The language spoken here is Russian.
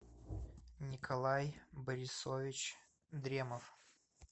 николай борисович дремов